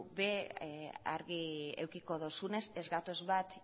ere argi edukiko duzunez ez gatoz bat